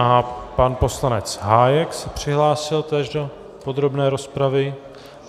A pan poslanec Hájek se přihlásil též do podrobné rozpravy.